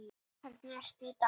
Hvernig ertu í dag?